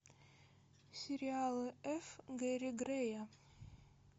сериалы ф гэри грэя